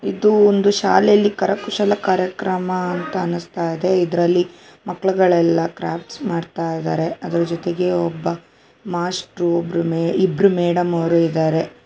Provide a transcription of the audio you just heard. ಇದು ಒಂದು ಶಾಲೆಯಲ್ಲಿ ಕರಕುಶಲ ಕಾರ್ಯಕ್ರಮ ಅಂತ ಅನುಸ್ತ ಇದೆ ಅದರಲ್ಲಿ ಮಕ್ಕಳುಗಳೆಲ್ಲ ಕ್ರಾಫ್ಟ್ಸ್ ಮಾಡ್ತಾಯಿದರೆ ಅದರ ಜೊತೆಗೆ ಒಬ್ಬ ಮಾಷ್ಟ್ರು ಒಬ್ಬರು ಇಬ್ಬರು ಮೇಡಂ ಅವರು ಇದರೆ.